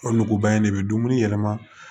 O nuguba in de bɛ dumuni yɛlɛma